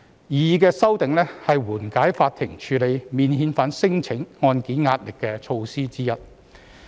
擬議的修訂，是緩解司法機構處理免遣返聲請案件的壓力的措施之一。